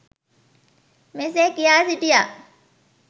මෙසේ කියා සිටියා.